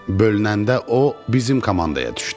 Bölünəndə o, bizim komandaya düşdü.